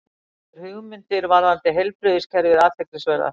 Telur hugmyndir varðandi heilbrigðiskerfið athyglisverðar